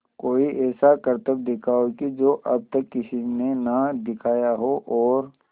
कोई ऐसा करतब दिखाओ कि जो अब तक किसी ने ना दिखाया हो और